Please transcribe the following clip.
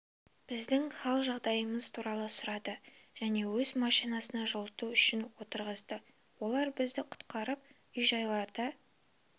біздің хал жағдайымыз туралы сұрады және өз машинасына жылыту үшін отырғызды олар бізді құтқарып үй-жайларда